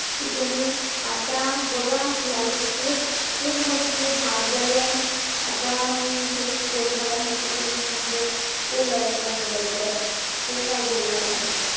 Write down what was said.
कि तुम्ही आता बघा life खूप खूप म्हणजे खूप hard झाली आहे. आता मी हेच बोलणार आहे, तुम्ही म्हणजे school life ला enjoy करा. तू काय बोलणार आहेस?